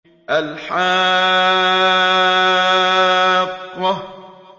الْحَاقَّةُ